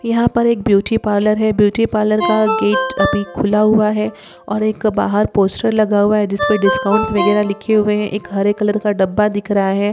यहाँ पर एक ब्यूटी पार्लर है ब्यूटी पार्लर का गेट अभी खुला हुआ है और एक बाहर पोस्टर लगा हुआ है जिसपे डिस्काउंट वगैरह लिखे हुए हैं। एक हरे कलर का डब्बा दिख रहा है।